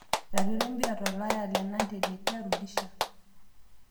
Iratiot lempira tolaya; lenante Letia, Rudisha